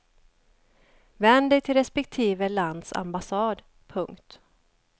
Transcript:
Vänd dig till respektive lands ambassad. punkt